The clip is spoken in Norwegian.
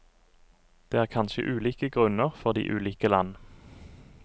Det er kanskje ulike grunner for de ulike land.